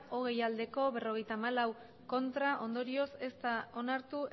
hogei ez berrogeita hamalau ondorioz ez da onartu